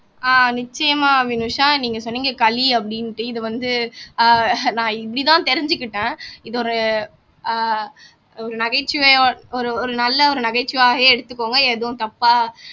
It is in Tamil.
ஆஹ் நிச்சயமா வினுஷா நீங்க சொன்னீங்க களி அப்படின்னுட்டு இது வந்து ஆஹ் நான் இப்படித்தான் தெரிஞ்சுகிட்டேன் இது ஒரு ஆஹ் ஒரு நகைச்சுவையால் ஒரு ஒரு நல்ல ஒரு நகைச்சுவையாவே எடுத்துக்கோங்க எதுவும் தப்பா